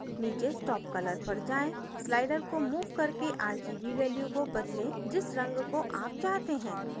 नीचे stop color पर जाएँ sliders को मूव करके rgb values को बदलें जिस रंग को आप चाहते हैं